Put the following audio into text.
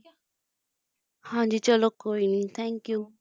ਹਾਂ ਜੀ ਚਲੋ ਕੋਈ ਨਹੀਂ thank you